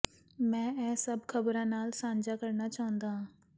ਮੈਂ ਇਹ ਸਭ ਖ਼ਬਰਾਂ ਨਾਲ ਸਾਂਝਾ ਕਰਨਾ ਚਾਹੁੰਦਾ ਹਾਂ